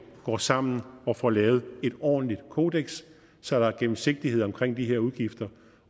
går sammen og får lavet et ordentligt kodeks så der er gennemsigtighed omkring de her udgifter